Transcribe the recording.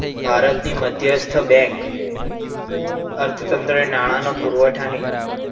ભારતની મધ્યસ્થ બેંક અર્થતંત્ર નાણાંનો પુરવઠો ને